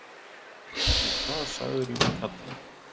Og hvað sagðirðu við kallinn?